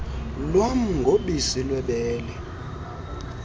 lwam ngobisi lwebele